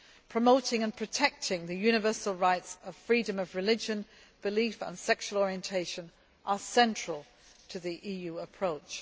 Promoting and protecting the universal rights of freedom of religion, belief and sexual orientation are central to the EU's approach.